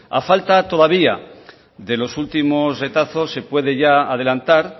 a falta todavía de los últimos retazos se puede ya adelantar